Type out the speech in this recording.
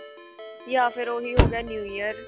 ਜਾਂ ਫ਼ਿਰ ਉਹੀ ਹੋ ਗਿਆ new year